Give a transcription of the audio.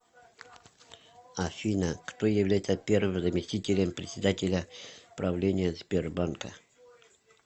афина кто является первым заместителем председателя правления сбербанка